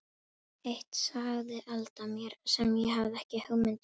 Eitt sagði Alda mér sem ég hafði ekki hugmynd um.